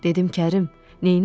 Dedim Kərim, neynirsən?